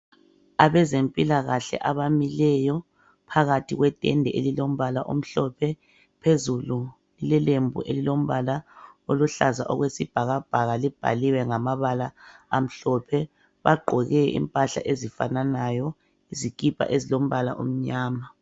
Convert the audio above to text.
Abezempilakahle abamileyo phakathi kwetende elilombala omhlophe phezulu kulelembu elilombala oluhlaza okwesibhakabhaka libhaliwe ngamabala amhlophe. Bagqoke impahla ezifananayo izikipa ezilombala omnyama.